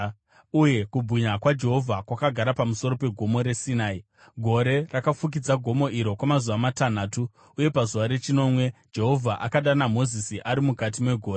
uye kubwinya kwaJehovha kwakagara pamusoro peGomo reSinai. Gore rakafukidza gomo iro kwamazuva matanhatu, uye pazuva rechinomwe, Jehovha akadana Mozisi ari mukati megore.